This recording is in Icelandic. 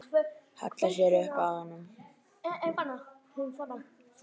Hallar sér upp að honum.